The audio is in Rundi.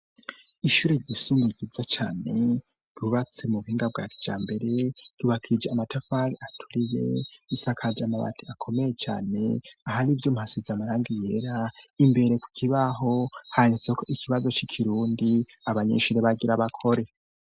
Ishure risunikiza cane yubatse mu buhinga bwa vyambere yubakije amatafari aturire isakaje amabati akomeye cane ahari ibyo masiz amaranga yera imbere ku kibaho hanitse ko ikibazo c'ikirundi abanyishuri bagira bakore.